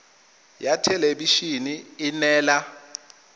ya thelebi ene e neela